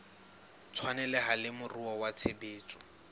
tshwaneleha le moruo wa tshebetso